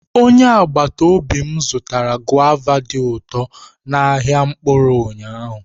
Onye agbata obi m zụtara guava dị ụtọ n'ahịa mkpụrụ ụnyahụ.